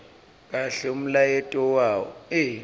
kahle umlayeto wawo